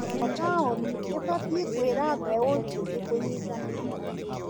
O taoni ĩbatiĩ kwĩra mbeũ njĩthĩ kũnyitanĩra.